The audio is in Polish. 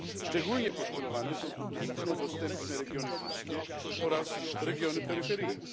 Szczególnie poszkodowane są tu trudno dostępne regiony górskie oraz regiony peryferyjne.